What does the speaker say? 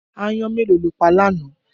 Aáyán mélòó lo pa lánàá?